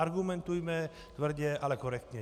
Argumentujme tvrdě, ale korektně.